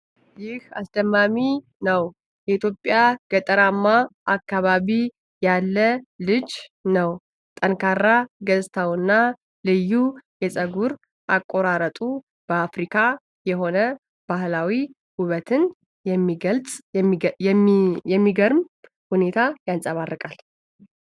ይህ አስደማሚ ነው:: የኢትዮጵያ ገጠራማ አካባቢ ያለ ልጅ ነው ። ጠንካራ ገጽታውና ልዩ የፀጉር አቆራረጡ አፍቃሪ የሆነ ባህላዊ ውበትን በሚገርም ሁኔታ ያንጸባርቃል።